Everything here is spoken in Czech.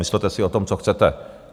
Myslete si o tom, co chcete.